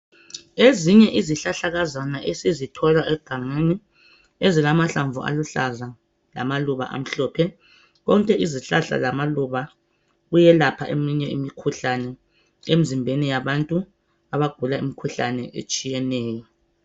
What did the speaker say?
Ezinye izihlahlakazana esizithola egangeni ezilamahlamvu aluhlaza lamaluba amhlophe , konke izihlahla lamaluba kuyelapha eminye imikhuhlane emzimbeni yabantu abagula imkhuhlane etshiyeneyo